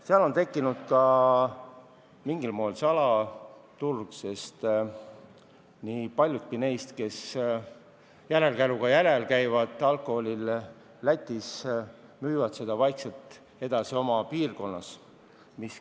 Seal on tekkinud ka mingil moel salaturg, sest paljud neist, kes järelkäruga käivad Lätist alkoholi toomas, müüvad seda vaikselt oma piirkonnas edasi.